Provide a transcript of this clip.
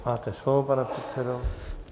Máte slovo, pane předsedo.